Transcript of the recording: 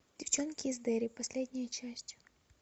девчонки из дерри последняя часть